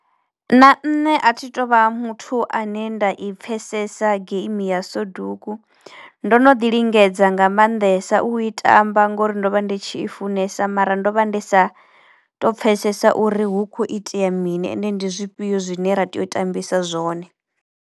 Na nṋe a thi tou vha muthu ane nda i pfhesesa geimi ya soduku. Ndo no ḓi lingedza nga mannḓesa u i tamba ngori ndo vha ndi tshi i funesa mara ndo vha ndi sa to pfhesesa uri hu kho itea mini ende ndi zwifhio zwine ra tea u tambisa zwone.